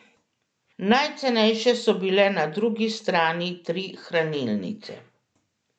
Najcenejše so bile na drugi strani tri hranilnice.